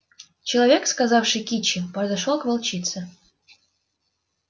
человек сказавший кичи подошёл к волчице